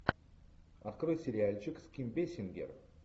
открой сериальчик с ким бейсингер